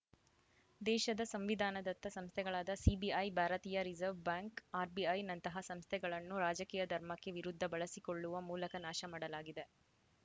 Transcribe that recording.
ದೇಶದ ಸಂವಿಧಾನದತ್ತ ಸಂಸ್ಥೆಗಳಾದ ಸಿಬಿಐ ಭಾರತೀಯ ರಿಸವ್‌ರ್‍ ಬ್ಯಾಂಕ್‌ ಆರ್‌ ಬಿಐ ನಂತಹ ಸಂಸ್ಥೆಗಳನ್ನು ರಾಜಕೀಯ ಧರ್ಮಕ್ಕೆ ವಿರುದ್ಧ ಬಳಸಿಕೊಳ್ಳುವ ಮೂಲಕ ನಾಶ ಮಾಡಲಾಗಿದೆ